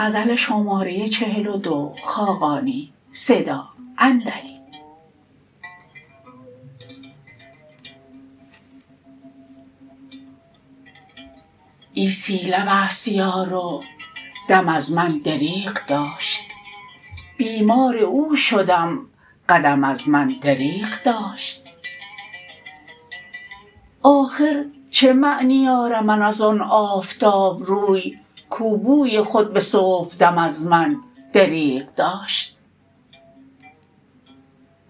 عیسی لب است یار و دم از من دریغ داشت بیمار او شدم قدم از من دریغ داشت آخر چه معنی آرم از آن آفتاب روی کو بوی خود به صبح دم از من دریغ داشت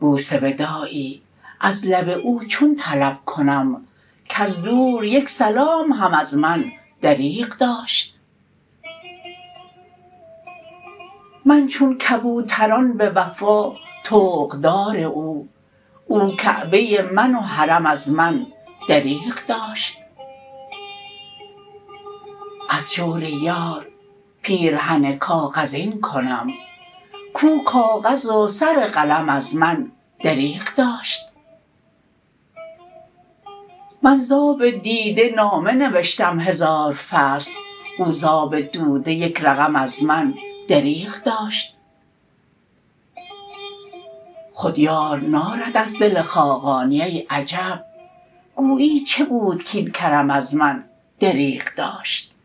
بوس وداعی از لب او چون طلب کنم کز دور یک سلام هم از من دریغ داشت من چون کبوتران به وفا طوق دار او او کعبه من و حرم از من دریغ داشت از جور یار پیرهن کاغذین کنم کو کاغذ و سر قلم از من دریغ داشت من ز آب دیده نامه نوشتم هزار فصل او ز آب دوده یک رقم از من دریغ داشت خود یار نارد از دل خاقانی ای عجب گویی چه بود کاین کرم از من دریغ داشت